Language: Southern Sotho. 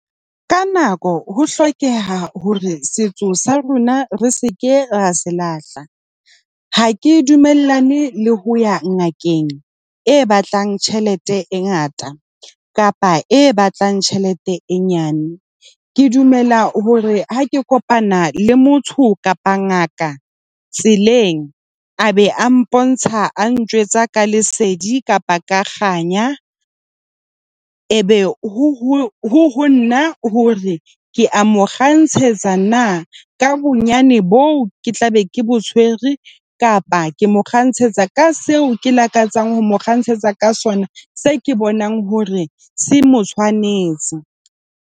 Ka nako ho hlokeha hore setso sa rona re se ke ra se lahla. Ha ke dumellane le ho ya ngakeng e batlang tjhelete e ngata kapa e batlang tjhelete e nyane. Ke dumela hore ha ke kopana le motho kapa ngaka tseleng a be a mpontsha a ntjwetsa ka lesedi kapa ka kganya, e be honna hore ke a mo kgantshetsa na ka bonyane boo ke tlabe ke bo tshwere, kapa ke mo kgantshetsa ka seo ke lakatsang ho mo kgantshetsa ka sona. Se ke bonang hore se mo tshwanetse.